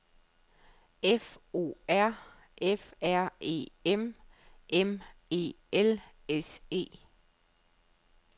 F O R F R E M M E L S E